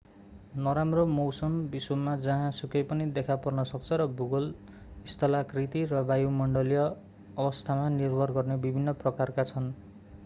नराम्रो मौसम विश्वमा जहाँ सुकै पनि देखा पर्न सक्छ र भूगोल स्थलाकृति र वायुमण्डलीय अवस्थामा निर्भर गर्ने विभिन्न प्रकारका छन्